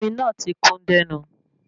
Omi náà ti kún dẹ́nu